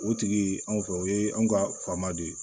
O tigi anw fɛ o ye anw ka faama de ye